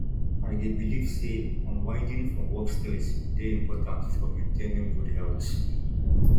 i dey believe say unwinding from work stress dey important for maintaining good health